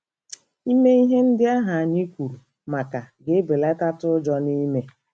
Ime ihe ndị ahụ anyị kwuru maka ga-ebelatatụ ụjọ n'ime